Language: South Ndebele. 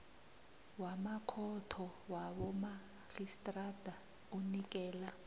wamakhotho wabomarhistrada unikela